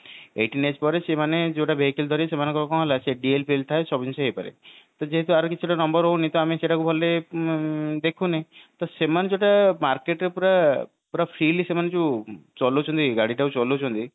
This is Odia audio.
eighteen age ପରେ ସେମାନେ ଯୋଉ vehicle ଧରିବେ ସେମାନଙ୍କର କଣ ହେଲା ସେ DL ଫିଏଲ ଥାଏ ସେ ସବୁ କିଛି ହେଇପାରେ ତ ଯେହେତୁ ୟାର କିଛି ତ number ରହୁନି ତ ଆମେ ସେଟ କୁ ଧରିଲେ ଉଁ ଦେଖୁନେ ତ ସେମାନେ ଯୋଉଟା market କୁ ପୁରା ପୁରା freely ସେମାନେ ଯୋଉ ଚଲୋଉ ଛନ୍ତି ଗାଡି ଟାକୁ ଚଲୋଉ ଛନ୍ତି